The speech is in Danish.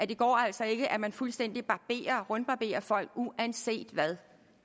det går altså ikke at man fuldstændig rundbarberer folks uanset hvad